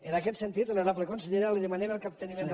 en aquest sentit honorable consellera li demanem el capteniment del